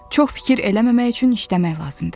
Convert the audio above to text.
Çox fikir eləməmək üçün işləmək lazımdır.